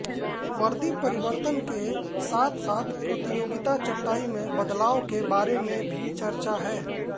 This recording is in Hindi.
वर्दी परिवर्तन के साथसाथ प्रतियोगिता चटाई में बदलाव के बारे में भी चर्चा है